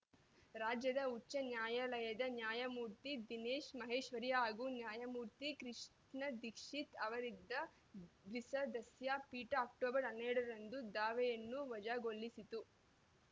ರಾಜ್ಯದ ಉಚ್ಚ ನ್ಯಾಯಾಲಯದ ನ್ಯಾಯಮೂರ್ತಿ ದಿನೇಶ್‌ ಮಹೇಶ್ವರಿ ಹಾಗೂ ನ್ಯಾಯಮೂರ್ತಿ ಕೃಷ್ಣ ದಿಕ್ಷಿತ್‌ ಅವರಿದ್ದ ದ್ವಿಸದಸ್ಯ ಪೀಠ ಅಕ್ಟೋಬರ್ ಹನ್ನೆರಡರಂದು ದಾವೆಯನ್ನು ವಜಾಗೊಳಿಸಿತ್ತು